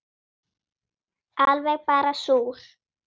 Alveg bara súr